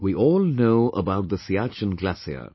we all know about the Siachen Glacier